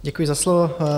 Děkuji za slovo.